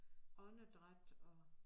Åndedræt og